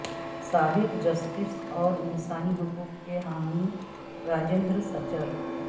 سابق جسٹس اور انسانی حقوق کے حامی راجندر سچر